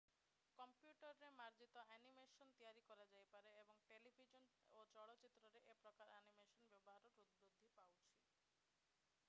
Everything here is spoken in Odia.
କମ୍ପ୍ୟୁଟରରେ ମାର୍ଜିତ ଆନିମେସନ୍ ତିଆରି କରାଯାଇପାରେ ଏବଂ ଟେଲିଭିଜନ୍ ଓ ଚଳଚ୍ଚିତ୍ରରେ ଏ ପ୍ରକାର ଆନିମେସନର ବ୍ୟବହାର ବୃଦ୍ଧି ପାଉଛି